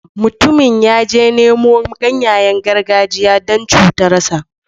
Mutumin ya je ya nemo ganyayen gargajiya don cutarsa.